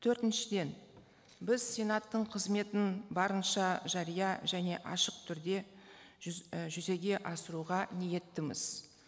төртіншіден біз сенаттың қызметін барынша жария және ашық түрде і жүзеге асыруға ниеттіміз